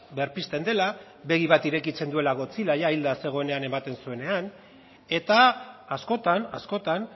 berpizten dela begi bat irekitzen duela godzilla jada hilda zegoela ematen zuenean eta askotan askotan